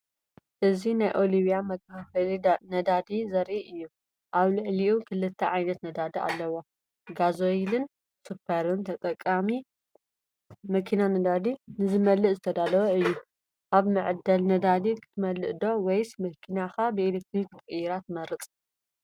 እዚ ናይ ኦይልሊብያ መከፋፈልቲ ነዳዲ ዘርኢ እዩ። ኣብ ልዕሊኡ ክልተ ዓይነት ነዳዲ ኣለዎ፡ “ጋሶይል”ን “ሱፐር”ን። ተጠቃሚ መኪና ነዳዲ ንኽመልእ ዝተዳለወ እዩ። ኣብ መዐደሊ ነዳዲ ክትመልእ ዶ ወይስ መኪናኻ ብኤሌክትሪክ ክትቅይራ ትመርጽ?